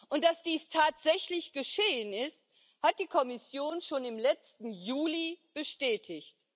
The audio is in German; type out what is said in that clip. Und dass dies tatsächlich geschehen ist, hat die Kommission schon im letzten Juli bestätigt.